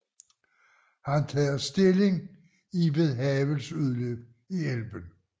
Han tager stilling i ved Havels udløb i Elben